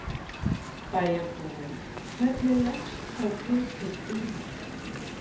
bæjarbúinn, hvernig leggst sá titill í þig?